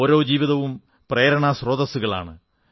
ഓരോ ജീവിതവും പ്രേരണാസ്രോതസ്സുകളാണ്